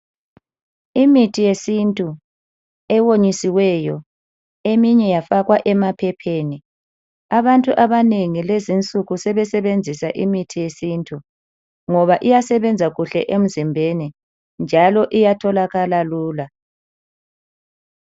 Imithi yesintu ewonyisiweyo eminye yafakwa emaphepheni. Abantu abanengi lezinsuku sebesebenzisa imithi yesintu ngoba iyasebenza kuhle emzimbeni njalo iyatholakala lula.